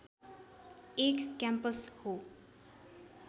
एक क्याम्पस हो